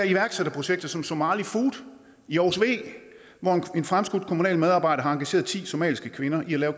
iværksætterprojekter som somali food i aarhus v hvor en fremskudt kommunal medarbejder har engageret ti somaliske kvinder i at lave